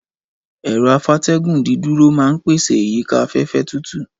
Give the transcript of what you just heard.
Ẹ̀rọ-afátẹ́gùn dídúró máa ń pèsè ìyíká afẹ́fẹ́ tútù.